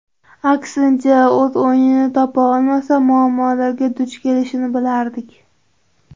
Aksincha, o‘z o‘yinini topa olmasa, muammolarga duch kelishini bilardik.